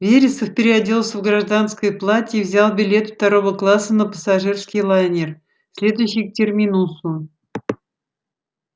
вересов переоделся в гражданское платье и взял билет второго класса на пассажирский лайнер следующий к терминусу